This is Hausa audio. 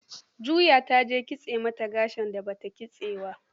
Juya ta jan kitse mata gashin da ba ta kitsawa.